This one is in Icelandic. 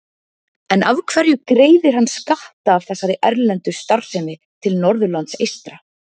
En af hverju greiðir hann skatta af þessari erlendu starfsemi til Norðurlands eystra?